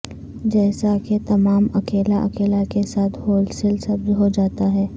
جیسا کہ تمام اکیلا اکیلا کے ساتھ ہول سیل سبز ہو جاتا ہے